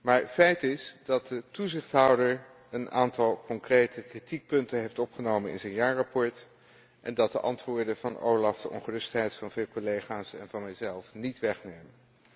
Maar feit is dat de toezichthouder een aantal concrete kritiekpunten heeft opgenomen in zijn jaarverslag en dat de antwoorden van OLAF de ongerustheid van vele collega's en van mezelf niet wegnemen.